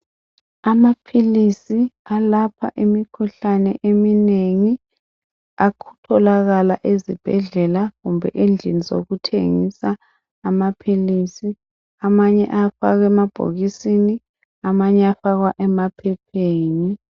Amaphilisi alapha imikhuhlane eminengi atholakala ezibhedlela kumbe endlini zokuthengisa amaphilisi. Amanye ayafakwa emabhokisini amanye ayafakwa emaphepheni.